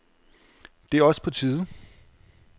Det er også på tide.